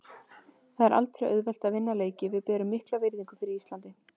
Það er aldrei auðvelt að vinna leiki og við berum mikla virðingu fyrir Íslandi.